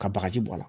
Ka bagaji bɔ a la